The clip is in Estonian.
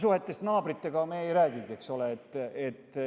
Suhetest naabritega me ei räägigi.